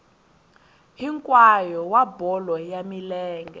hinkwayo wa bolo ya milenge